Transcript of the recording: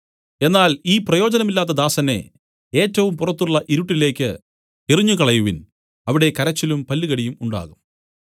എന്നാൽ ഈ പ്രയോജനമില്ലാത്ത ദാസനെ ഏറ്റവും പുറത്തുള്ള ഇരുട്ടിലേക്ക് എറിഞ്ഞുകളയുവിൻ അവിടെ കരച്ചിലും പല്ലുകടിയും ഉണ്ടാകും